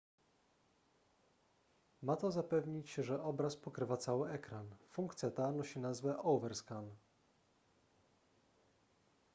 ma to zapewnić że obraz pokrywa cały ekran funkcja ta nosi nazwę overscan